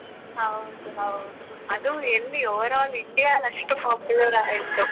ಹೌದು ಹೌದು, ಅದೂ ಎಲ್ಲಿ overall India ಅಲ್ ಅಷ್ಟು popular ಆಯ್ತು.